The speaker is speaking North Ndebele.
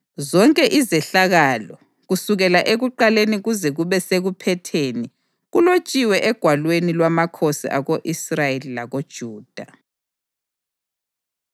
zonke izehlakalo, kusukela ekuqaleni kuze kube sekuphetheni, kulotshiwe egwalweni lwamakhosi ako-Israyeli lakoJuda.